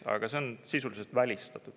Aga see on sisuliselt välistatud.